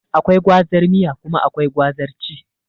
Akwai gwazar miya kuma akwai gwazar ci